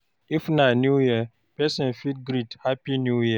If na new year person fit greet "happy new year"